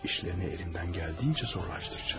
İşlərini əlimdən gəldiyi qədər çətinləşdirəcəyəm.